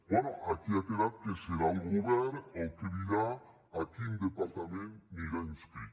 bé aquí ha quedat que serà el govern el que dirà a quin departament anirà inscrit